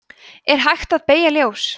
er hægt að beygja ljós